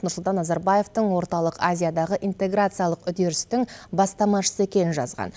нұрсұлтан назарбаевтың орталық азиядағы интеграциялық үдерістің бастамасышы екенін жазған